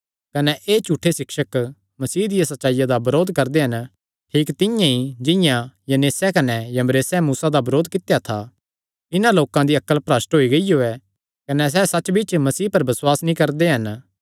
कने एह़ झूठे सिक्षक मसीह दी सच्चाईया दा बरोध करदे हन ठीक तिंआं ई जिंआं ई यन्नेस कने यम्ब्रेसे मूसा दा बरोध कित्या था इन्हां लोकां दी अक्ल भरष्ठ होई गियो कने सैह़ सच्च बिच्च मसीह पर बसुआस नीं करदे हन